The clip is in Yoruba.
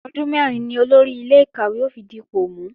Ọdún mẹ́rin ni Olórí ilé-ìkàwé ó fi dipò mú